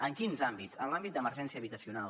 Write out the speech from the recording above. en quins àmbits en l’àmbit d’emergència habitacional